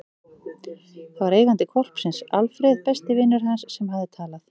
Það var eigandi hvolpsins, Alfreð, besti vinur hans, sem hafði talað.